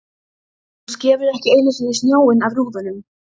Hún skefur ekki einu sinni snjóinn af rúðunum!